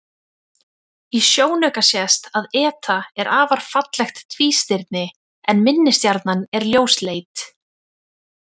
Í sjónauka sést að eta er afar fallegt tvístirni en minni stjarnan er ljósleit.